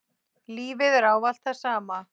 Lífið er ávallt það sama.